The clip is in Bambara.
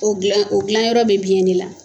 U dilan u dilanyɔrɔ bɛ biɲɛn de la.